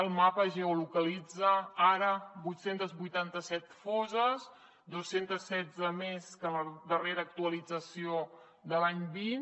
el mapa geolocalitza ara vuit cents i vuitanta set fosses dos cents i setze més que en la darrera actualització de l’any vint